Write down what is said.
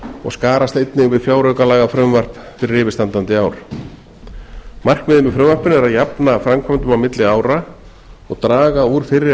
og skarast einnig við fjáraukalagafrumvarp fyrir yfirstandandi ár markmiðið með frumvarpinu er að jafna framkvæmdum á milli ára og draga úr fyrri